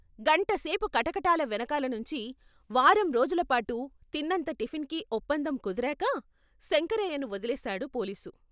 గంట సేపు కటకటాల వెనకాల నుంచి వారం రోజుల పాటు తిన్నంత టిఫిన్‌కి ఒప్పందం కుదిరాక శంకరయ్యను వొదిలేశాడు పోలీసు.